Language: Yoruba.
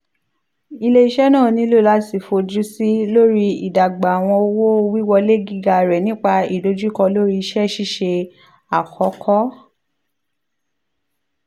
ile-iṣẹ naa nilo lati fojusi lori idagba awọn owo-wiwọle giga rẹ nipa idojukọ lori iṣẹ-ṣiṣe akọkọ